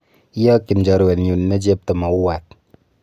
Iyokyin chorwenyun ne chepto mauwat